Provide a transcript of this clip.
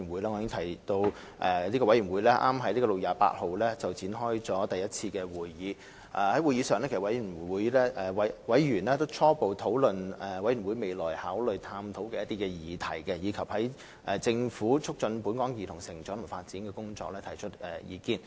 我已提及，委員會剛在6月28日召開第一次會議，而在會議上，委員初步討論了委員會未來可考慮探討的議題，以及就政府促進本港兒童成長及發展的工作提出意見。